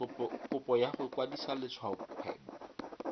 kopo ya go kwadisa letshwaokgwebo